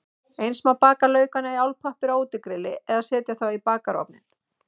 Eins má baka laukana í álpappír á útigrilli eða setja þá í bakarofninn.